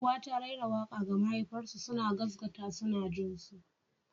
Uwa ta raira waƙa ga mahaifarsu suna gaskata suna jin su.